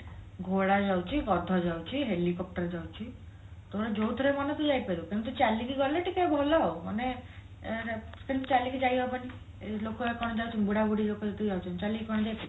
ଘୋଡା ଯାଉଛି ଗାଢ ଯାଉଛି helicopter ଯାଉଛି ତୋର ଯୋଉଥିରେ ମନ ତୁ ଯାଇପାରିବୁ କିନ୍ତୁ ଚାଲିକି ଗଲେ ଟିକେ ଭଲ ଆଉ ମାନେ ଅ କିନ୍ତୁ ଚାଲିକି ଯାଇହବନି ଏଇ ବୁଢାବୁଢୀ ଲୋକ ଯେତିକି ଯାଉଛନ୍ତି ଚାଲିକି କଣ ଯାଇପାରିବେ